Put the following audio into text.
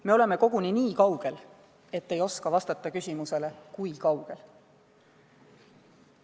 Me oleme koguni nii kaugel, et ei oska vastata küsimusele "Kui kaugel?".